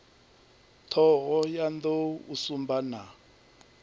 thohoyanḓ ou u sumba na